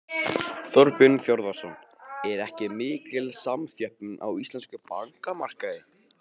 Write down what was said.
Þorbjörn Þórðarson: Er ekki mikil samþjöppun á íslenskum bankamarkaði?